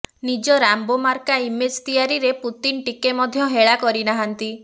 ନିଜ ରାମ୍ବୋ ମାର୍କା ଇମେଜ୍ ତିଆରିରେ ପୁତିନ ଟିକେ ମଧ୍ୟ ହେଳା କରିନାହାନ୍ତି